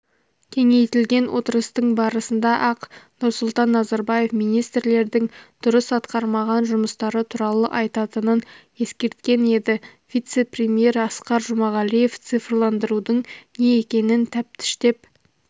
кеңейтілген отырыстың басында-ақ нұрсұлтан назарбаев министрлердің дұрыс атқармаған жұмыстары туралы айтатынын ескерткен еді вице-премьер асқар жұмағалиев цифрландырудың не екенін тәптіштеп